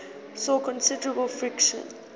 saw considerable friction